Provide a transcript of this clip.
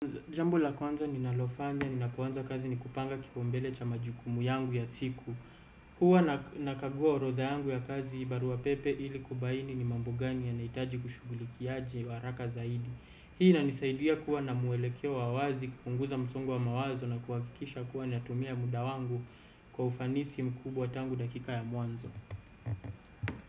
Jambo la kwanza ninalofanya, ninapoanza kazi ni kupanga kipaumbele cha majukumu yangu ya siku. Huwa nakaguwa orotha yangu ya kazi barua pepe ili kubaini ni mambo gani yanaitaji kushugulikiaje wa haraka zaidi. Hii inanisaidia kuwa na mwelekeo wa wazi, kupunguza msongo wa mawazo na kuakikisha kuwa natumia muda wangu kwa ufanisi mkubwa tangu dakika ya mwanzo.